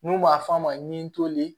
N'u b'a f'a ma ni toli